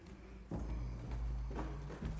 mere